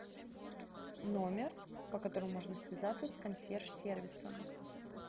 номер по которому можно связаться с консьерж сервисом